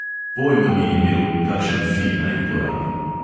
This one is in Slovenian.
Pojma ni imel, kakšen fi naj uporabi.